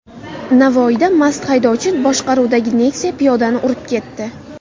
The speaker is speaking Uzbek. Navoiyda mast haydovchi boshqaruvidagi Nexia piyodani urib ketdi.